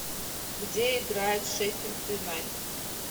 где играет шеффилд юнайтед